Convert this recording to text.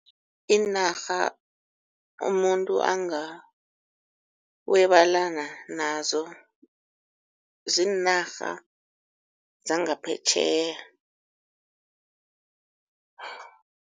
Iinarha umuntu angarwebelana nazo ziinarha zangaphetjheya.